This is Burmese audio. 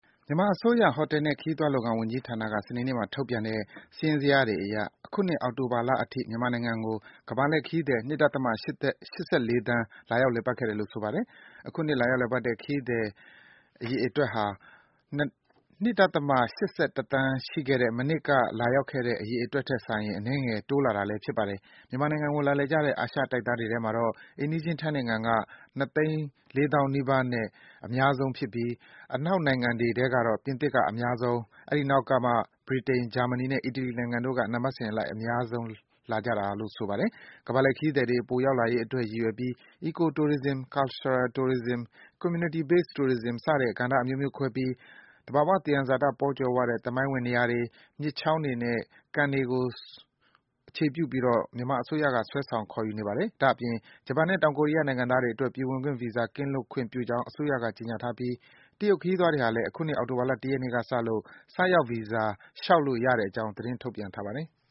မြန်မာအစိုးရ ဟိုတယ်နဲ့ ခရီးသွှွားလုပ်ငန်းဝန်ကြီးဌာနက စနေနေ့မှာ ထုတ်ပြန်တဲ့ စာရင်းဇယားတွေအရ အခုနှစ် အောက်တိုဘာလအထိ မြန်မာနိုင်ငံကို ကမ္ဘာလှည့်ခရီးသည် ၂.၈၄ သန်း လာရောက် လည်ပတ်ခဲ့တယ်လို့ ဆိုပါတယ်။ အခုနှစ် လာရောက်လည်ပတ်တဲ့ ကမ္ဘာလှည့် ခရီးသွားအရေအတွက်ဟာ ၂.၈၁ သန်းရှိခဲ့တဲ့ မနှစ်က လာရောက်တဲ့ အရေအတွက်ထက် စာရင် အနည်းငယ် တိုးလာတာလည်း ဖြစ်ပါတယ်။ မြန်မာနိုင်ငံကို လာလည်ကြတဲ့ အာရှတိုက်သားတွေထဲမှာ အိမ်နီးချင်း ထိုင်းနိုင်ငံက ၂၃၆,၄၄၁ ဦးနဲ့ အများဆုံးဖြစ်ပြီး အနောက်နိုင်ငံတွေထဲ ကတော့ ပြင်သစ်က အများဆုံး၊ အဲဒီနောက်ကမှ ဗြိတိန်၊ ဂျာမနီနဲ့ အီတလီနိုင်ငံတို့က နံပတ်စဉ်လိုက် အများဆုံးလာကြတယ်လို့ ဆိုပါတယ်။ ကမ္ဘာလှည်ခရီးသည်တွေ ပိုရောက်လာရေးအတွက် ရည်ရွယ်ပြီး Eco-tourism ၊ Cultural-trourism ၊ Communitry-based tourism စတဲ့ ကဏ္ဍအမျိုးမျိုးခွဲပြီး သဘာ၀ သယံဇာတ ပေါကြွယ်ဝတဲ့ သမိုင်းဝင် နေရာတွေ၊ မြစ်ချောင်းတွေနဲ့ ကန်တွေကို ဆွဲဆောင် ခေါ်ယူနေပါတယ်။ ဒါ့အပြင် ဂျပန်နဲ့ တောင်ကိုရီးယားနိုင်ငံသားတွေအတွက် ပြည်ဝင်ခွင့်ဗီဇာ ကင်းလွတ်ခွင့်ပြုကြောင်း အစိုးရက ကြေညာထားပြီး တရုတ် ခရီးသွားတွေဟာလည်း အခုနှစ် အောက်တိုဘာလ ၁ ရက်နေ့ကစလို့ ဆိုက်ရောက်ဗီဇာ လျှောက်လို့ရတဲ့အကြောင်း သတင်း ထုတ်ပြန်ထားပါတယ်။